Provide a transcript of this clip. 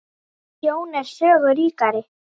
Sjón er sögu ríkari